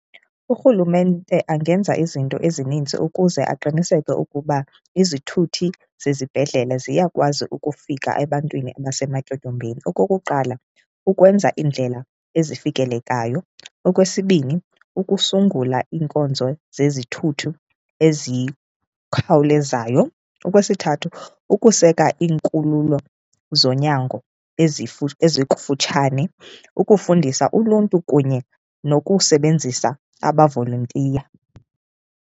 Urhulumente angenza izinto ezininzi ukuze aqiniseke ukuba izithuthi zezibhedlele ziyakwazi ukufika ebantwini abasematyotyombeni. Okokuqala, kukwenza iindlela ezifikelekayo. Okwesibini, ukusungula iinkonzo zezithuthi ezikhawulezayo. Okwesithathu, ukuseka izikhululo zonyango ezikufutshane. Ukufundisa uluntu kunye nokusebenzisa amavolontiya.